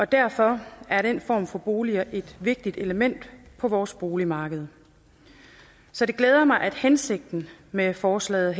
derfor er den form for boliger et vigtigt element på vores boligmarked så det glæder mig at hensigten med forslaget